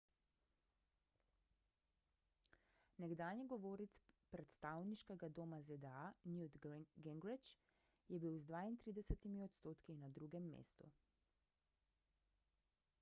nekdanji govorec predstavniškega doma zda newt gingrich je bil z 32 odstotki na drugem mestu